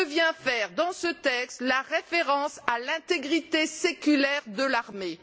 Que vient faire dans ce texte la référence à l'intégrité séculaire de l'armée?